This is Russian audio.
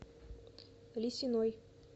лисиной